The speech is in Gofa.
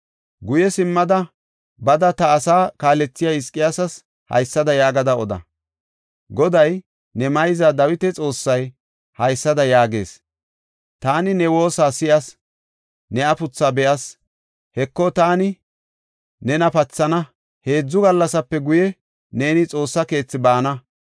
“Guye simmada bada ta asaa kaalethiya Hizqiyaasas haysada yaagada oda. Goday, ne mayza Dawita Xoossay haysada yaagees; ‘Taani ne woosa si7as; ne afuthaa be7as. Heko, taani nena pathana; heedzu gallasape guye, neeni Xoossa keethi baana.